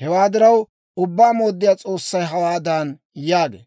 Hewaa diraw, Ubbaa Mooddiyaa S'oossay hawaadan yaagee;